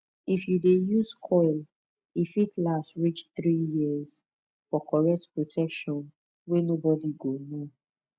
if you dey use coil e fit last reach 3yrs for correct protection wey nobody go know